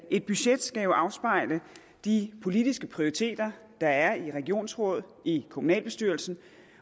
et budget skal jo afspejle de politiske prioriteter der er i et regionsråd i en kommunalbestyrelse